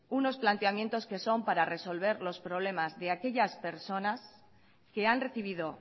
unos planteamientos que son para resolver los problemas de aquellas personas que han recibido